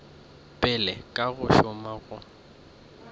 pele ka go šoma go